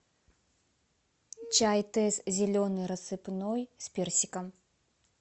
чай тесс зеленый рассыпной с персиком